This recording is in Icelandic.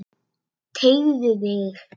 Teygðu þig.